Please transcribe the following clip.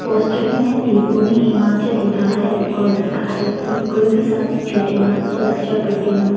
Poster में देवभूमि हिमाचल लिखा है और लिखा है कि कोई भी साथी छूटे ना सुरक्षा टूटे ना।